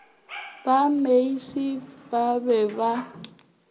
ba meisie ba be ba